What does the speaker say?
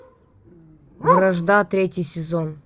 вражда третий сезон